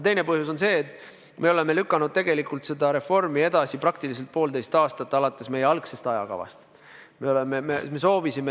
Teine põhjus on see, et me oleme lükanud seda reformi edasi praktiliselt poolteist aastat alates meie algsest ajakavast.